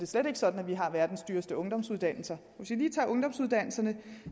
slet ikke sådan at vi har verdens dyreste ungdomsuddannelser hvis vi lige tager ungdomsuddannelserne